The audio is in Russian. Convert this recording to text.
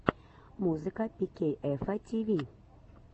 музыка пикейэфа тиви